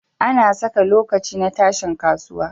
Ana Saka lokaci na tashin kasuwa